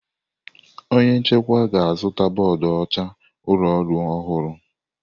Onye nchịkwa ga-azụta bọọdụ ọcha ụlọ ọrụ ọhụrụ.